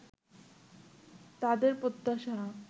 তাদের প্রত্যাশা